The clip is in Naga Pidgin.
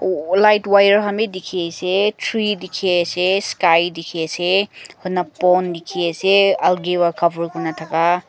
light wire dikhiase tree dikhiase sky dikhi ase pond dikhiase alagay pa cover kurna thaka.